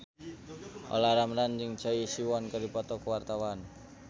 Olla Ramlan jeung Choi Siwon keur dipoto ku wartawan